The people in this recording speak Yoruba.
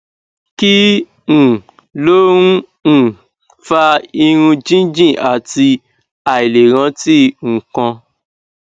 kí um ló ń um fa irun jíjìn àti àìlè rántí nǹkan